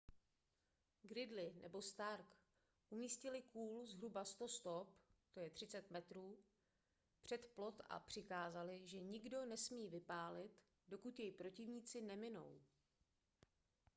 gridley nebo stark umístili kůl zhruba 100 stop 30 m před plot a přikázali že nikdo nesmí vypálit dokud jej protivníci neminou